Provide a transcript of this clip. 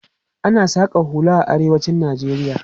Ana saƙan hula a arewacin Najeriya.